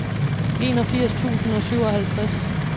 enogfirs tusind og syvoghalvtreds